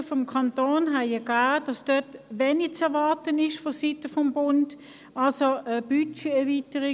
Vorprüfungen des Kantons haben ergeben, das diesbezüglich vonseiten des Bundes wenig zu erwarten ist.